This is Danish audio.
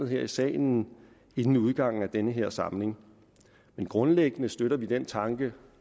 her i salen inden udgangen af den her samling grundlæggende støtter vi den tanke